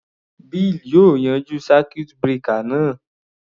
Bill yóò yanjú circuit breaker náà.